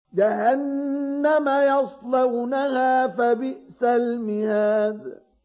جَهَنَّمَ يَصْلَوْنَهَا فَبِئْسَ الْمِهَادُ